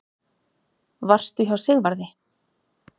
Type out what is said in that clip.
Varstu hjá Sigvarði?